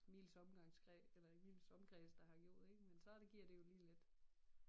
Miles omgangs eller i miles omkreds der har gjort det ik men så giver det jo lige lidt